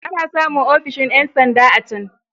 Ana samun ofishin ƴan sanda a can.